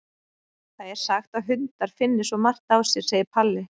Það er sagt að hundar finni svo margt á sér, segir Palli.